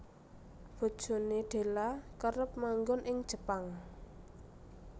Bojone Della kerep manggon ing Jepang